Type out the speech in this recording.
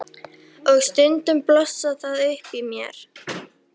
Og stundum blossar það upp í mér.